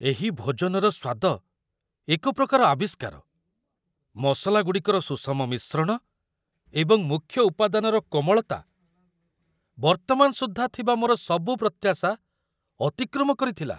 ଏହି ଭୋଜନର ସ୍ୱାଦ ଏକ ପ୍ରକାର ଆବିଷ୍କାର, ମସଲାଗୁଡ଼ିକର ସୁଷମ ମିଶ୍ରଣ ଏବଂ ମୁଖ୍ୟ ଉପାଦାନର କୋମଳତା ବର୍ତ୍ତମାନ ସୁଦ୍ଧା ଥିବା ମୋର ସବୁ ପ୍ରତ୍ୟାଶା ଅତିକ୍ରମ କରିଥିଲା।